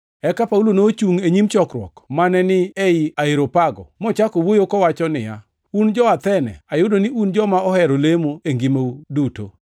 Eka Paulo nochungʼ e nyim chokruok mane ni ei Areopago mochako wuoyo kowacho niya, “Un jo-Athene, ayudo ni un joma ohero lemo e ngimau duto.